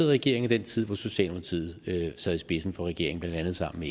regering og den tid hvor socialdemokratiet sad i spidsen for regeringen blandt andet sammen